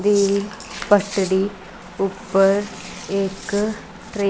ਦੀ ਪੱਟੜੀ ਉੱਪਰ ਇੱਕ ਟ੍ਰੇਨ --